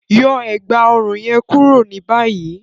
Yọ ẹ̀gbá-ọ̀run yẹn kúrò ni bàyìí!